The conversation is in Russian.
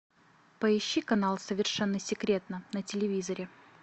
поищи канал совершенно секретно на телевизоре